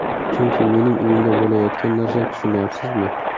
Chunki mening uyimda bo‘layotgan narsa, tushunyapsizmi?